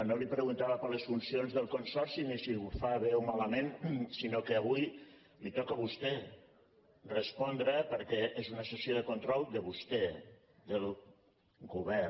no li preguntava per les funcions del consorci ni si ho fa bé o malament sinó que avui li toca a vostè respondre perquè és una sessió de control de vostè del govern